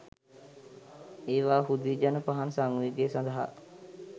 ඒවා හුදි ජන පහන් සංවේගය සඳහා